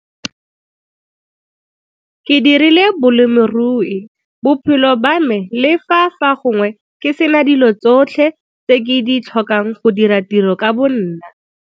Ke dirile bolemirui bophelo ba me le fa fa gongwe ke se na dilo tsotlhe tse ke di tlhokang go dira tiro ka bonna.